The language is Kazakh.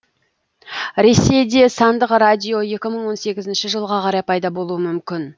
ресейде сандық радио екі мың он сегізінші жылға қарай пайда болуы мүмкін